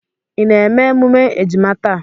Ị na-eme emume ejima taa?